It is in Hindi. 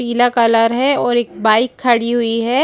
पीला कलर है और एक बाइक खड़ी हुई है।